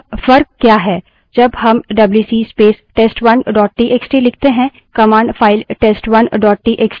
जब हम WC space test1 dot TXT लिखते हैं command file test1 dot TXT को खोलती और उससे reads पढ़ती करती है